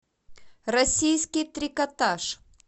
российский трикотаж